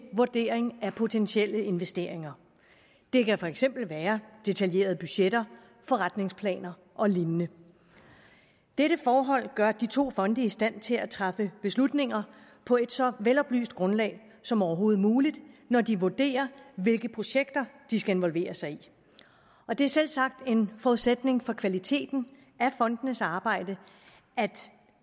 vurdering af potentielle investeringer det kan for eksempel være detaljerede budgetter forretningsplaner og lignende dette forhold gør de to fonde i stand til at træffe beslutninger på et så veloplyst grundlag som overhovedet muligt når de vurderer hvilke projekter de skal involvere sig i og det er selvsagt en forudsætning for kvaliteten af fondenes arbejde